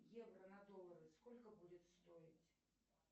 евро на доллары сколько будет стоить